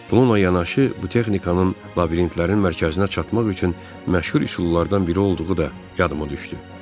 Bununla yanaşı bu texnikanın labirintlərin mərkəzinə çatmaq üçün məşhur üsullardan biri olduğu da yadıma düşdü.